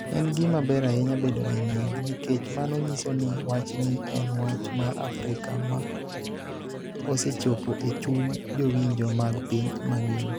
En gima ber ahinya bedo gi nying� nikech mano nyiso ni wachni en wach mar Afrika ma osechopo e chuny jowinjo mag piny mangima.